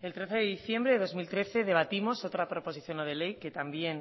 el trece de diciembre de dos mil trece debatimos otra proposición no de ley que también